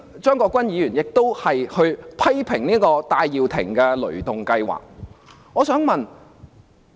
張國鈞議員剛才亦批評戴耀廷的"雷動計劃"。